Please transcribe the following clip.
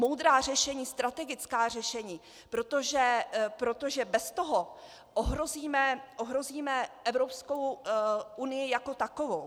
Moudrá řešení, strategická řešení, protože bez toho ohrozíme Evropskou unii jako takovou.